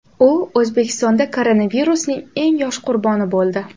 U O‘zbekistonda koronavirusning eng yosh qurboni bo‘ldi .